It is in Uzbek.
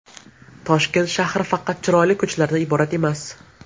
Toshkent shahri faqat chiroyli ko‘chalardan iborat emas.